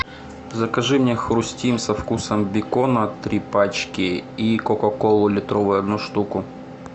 закажи мне хрустим со вкусом бекона три пачки и кока колу литровую одну штуку